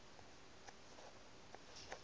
wo se ka se phele